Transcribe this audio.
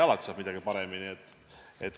Alati saab midagi paremini teha.